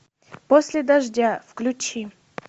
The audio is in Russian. после дождя включи